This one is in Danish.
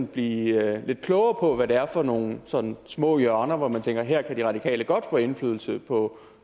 blive lidt klogere på hvad det er for nogle sådan små hjørner hvor man tænker at her kan de radikale godt få indflydelse på